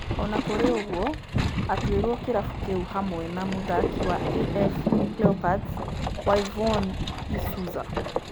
Ona kũrĩ ũguo atuirwo kĩrabu kĩu hamwe na mũthaki wa AF Leopards Whyvonne isuza